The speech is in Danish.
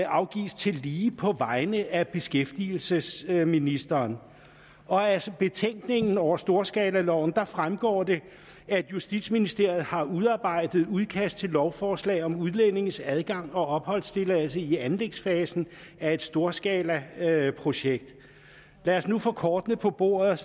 afgives tillige på vegne af beskæftigelsesministeren og af betænkningen over storskalaloven fremgår det at justitsministeriet har udarbejdet udkast til lovforslag om udlændinges adgang og opholdstilladelse i anlægsfasen af et storskalaprojekt lad os nu få kortene på bordet